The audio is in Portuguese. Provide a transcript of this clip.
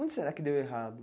Onde será que deu errado?